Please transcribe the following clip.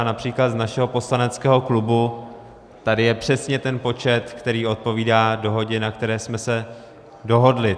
A například z našeho poslaneckého klubu tady je přesně ten počet, který odpovídá dohodě, na které jsme se dohodli.